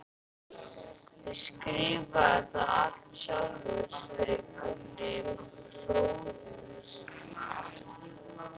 Ég skrifaði það allt sjálfur, sagði Gunni hróðugur.